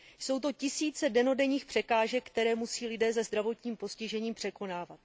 Jsou to tisíce dennodenních překážek, které musí lidé se zdravotním postižením překonávat.